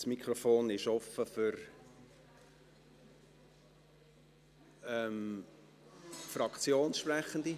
Das Mikrofon ist offen für Fraktionssprechende;